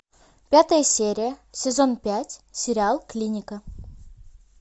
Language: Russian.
пятая серия сезон пять сериал клиника